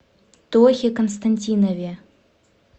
тохе константинове